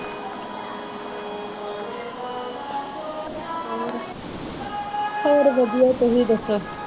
ਹੋਰ ਵਧੀਆ ਤੁਸੀਂ ਦੱਸੋ